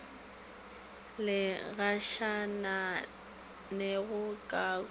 di gašaganego ka koloing ka